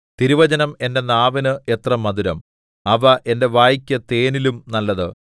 തിരുവചനം എന്റെ നാവിന് എത്ര മധുരം അവ എന്റെ വായ്ക്ക് തേനിലും നല്ലത്